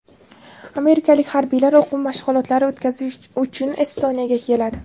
Amerikalik harbiylar o‘quv mashg‘ulotlari o‘tkazish uchun Estoniyaga keladi.